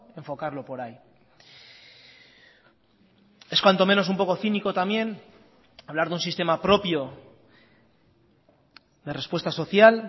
enfocarlo por ahí es cuanto menos un poco cínico también hablar de un sistema propio de respuesta social